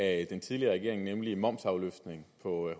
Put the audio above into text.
af den tidligere regering nemlig momsafløftning på